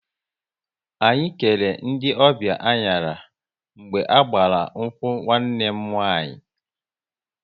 Anyị kere ndị ọbịa anyara mgbe a gbara nkwu nwanne m nwaanyị